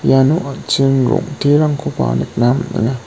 iano an·ching rong·terangkoba nikna man·enga.